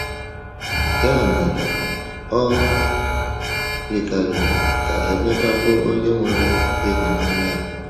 Ya mere, o yikarịrị ka Emeka bụ onye nwere ịhụnanya a.